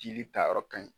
Jeli ta yɔrɔ ka ɲi